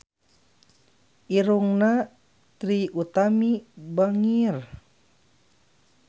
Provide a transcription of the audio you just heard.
Irungna Trie Utami bangir